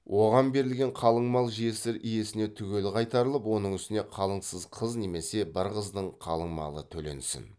оған берілген қалың мал жесір иесіне түгел қайтарылып оның үстіне қалыңсыз қыз немесе бір қыздың қалың малы төленсін